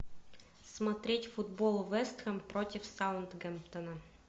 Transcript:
смотреть футбол вест хэм против саутгемптона